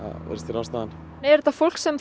ástæðan er þetta fólk sem